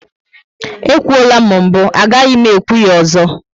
E kwuola m mbụ, agaghị m ekwu ya ozo